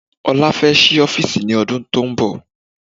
Ọlá fẹ́ sí ọ́fìsì ní ọdún tónbọ̀.